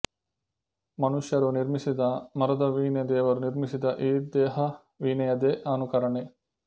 ಮನುಷ್ಯರು ನಿರ್ಮಿಸಿದ ಮರದ ವೀಣೆ ದೇವರು ನಿರ್ಮಿಸಿದ ಈ ದೇಹವೀಣೆಯದೇ ಅನುಕರಣೆ